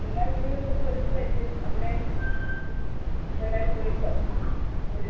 എല്ലാ വീടുകളിലും ഒരുക്കമായിരിക്കും അവിടെയും എല്ലാരും വിളിച്ചോ ഒരു~